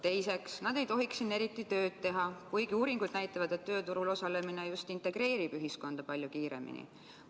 Teiseks, nad ei tohiks siin eriti tööd teha, kuigi uuringud näitavad, et tööturul osalemine just integreerib ühiskonda palju kiiremini.